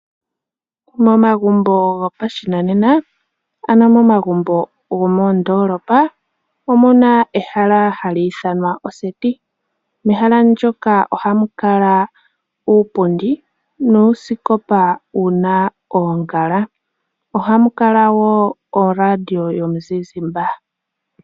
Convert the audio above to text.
Momagumbo gopashinanena ano momagumbo gomoondolopa omuna ehala hali ithanwa oseti mehala ndyoka ohamu kala uupundi nuusikopa wuna oongala, ohamu kala woo oradiyo yomuzizimba.